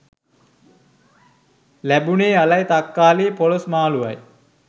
ලැබුණේ අලයි තක්කාලියි පොළොස් මාලුවයි